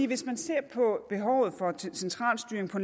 hvis man ser på behovet for central styring på